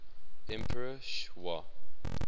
emperor sh wa